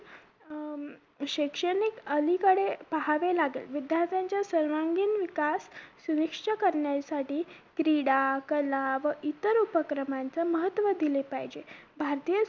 अं शैक्षणिक अलीकडे पाहावे लागेल विद्यार्थ्यांच्या सर्वांगीण विकास सुविच्छ करण्यासाठी क्रीडा कला व इतर उपक्रमांच महत्व दिले पाहिजे भारतीय